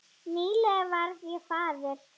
Nýlega varð ég faðir.